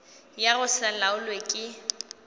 ya go se laolwe ke